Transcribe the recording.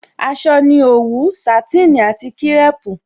Aṣọ ni òwú, Sàtínì àti kírèpù